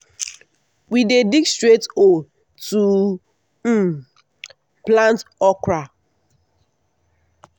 we dey dig straight hole to um plant okra.